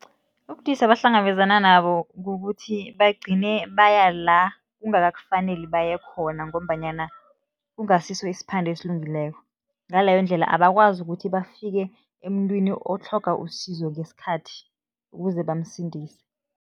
Ubudisi abahlangabezana nabo kukuthi bagcine baya la kungakakufaneli baye khona ngombanyana kungasiso isiphande esilungileko, ngaleyo ndlela abakwazi ukuthi bafike emuntwini otlhoga usizo ngesikhathi, ukuze bamsindise.